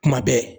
Kuma bɛɛ